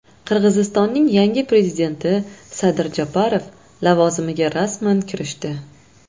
Qirg‘izistonning yangi prezidenti Sadir Japarov lavozimiga rasman kirishdi.